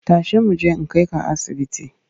Tashi mu je in kai ka asibiti!